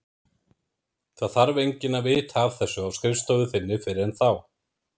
Það þarf enginn að vita af þessu á skrifstofu þinni fyrr en þá.